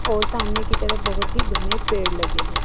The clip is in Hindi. और सामने की तरफ बहुत ही घने पेड़ लगे हैं।